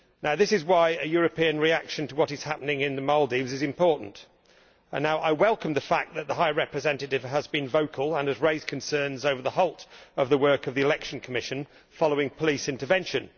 This is why a European reaction to what is happening in the Maldives is important, and I welcome the fact that the Vice President High Representative has been vocal and has raised concerns over the halting of the work of the election commission following police intervention.